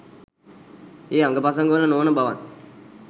ඒ අඟපසඟවල නොවන බවත්